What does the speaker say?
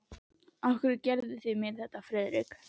Af hverju gerðuð þið mér þetta, Friðrik?